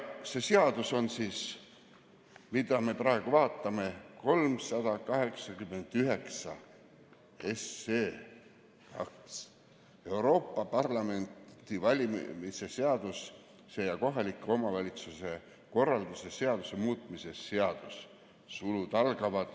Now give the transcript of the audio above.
See, mida me praegu vaatame, on 389, Euroopa Parlamendi valimise seaduse ja kohaliku omavalitsuse korralduse seaduse muutmise seadus .